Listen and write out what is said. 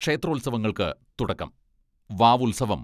ക്ഷേത്രോത്സവങ്ങൾക്ക് തുടക്കം വാവുത്സവം